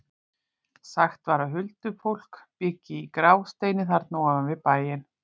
Sagt var að huldufólk byggi í Grásteini þarna ofan við bæinn.